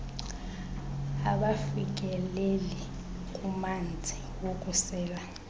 abafikeleli kumanzi wokusela